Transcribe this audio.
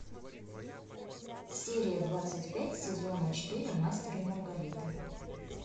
серия двадцать пять сезона четыре мастер и маргарита